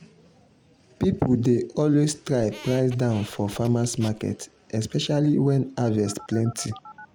people dey always try price down for farmers’ market especially when harvest plenty.